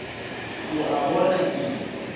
o a bona ke be